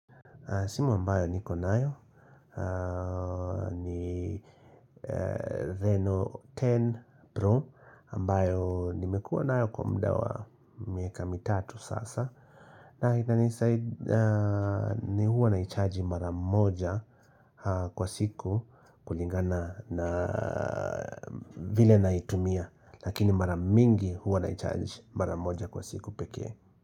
Simu ambayo niko nayo ni Reno 10 Pro ambayo nimekua nayo kwa muda wa miaka mitatu sasa na hitani saidi ni huwa na icharji maramoja kwa siku kulingana na vile na itumia Lakini maramingi huwa na icharji maramoja kwa siku peke.